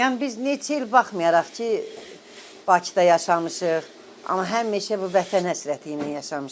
Yəni biz neçə il baxmayaraq ki, Bakıda yaşamışıq, amma həmişə bu vətən həsrəti ilə yaşamışıq.